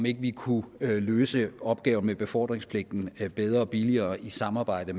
ikke kunne løse opgaven med befordringspligten bedre og billigere i samarbejde